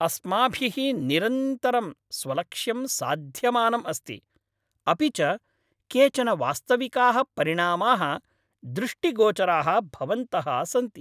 अस्माभिः निरन्तरं स्वलक्ष्यं साध्यमानं अस्ति, अपि च केचन वास्तविकाः परिणामाः दृष्टिगोचराः भवन्तः सन्ति।